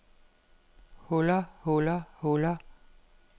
huller huller huller